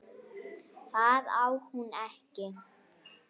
Það á hún ekki.